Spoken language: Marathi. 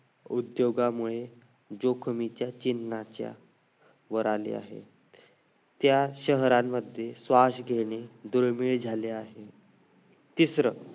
उद्योगामुळे जोखमीच्या चिन्हाच्या वर आले आहे त्या शहरांमध्ये श्वास घेणे दुर्मिळ झाले आहे तिसरं